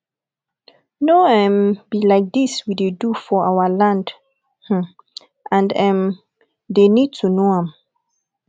no um be like dis we dey do for our land um and um dey need to know am